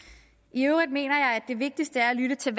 i øvrigt mener jeg at det vigtigste er at lytte til